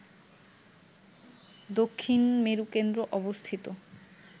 দক্ষিণ মেরু কেন্দ্র অবস্থিত